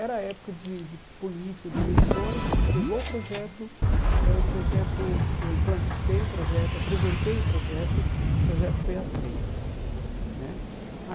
Era a época de de política, de eleições, a gente levou o projeto eh o projeto foi, eu implantei o projeto, apresentei o projeto, o projeto foi aceito né